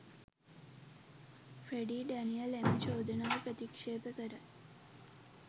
Freddie Daniel එම චෝදනාව ප්‍රතික්ෂේප කරයි